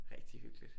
Rigtig hyggeligt